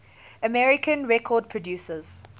american record producers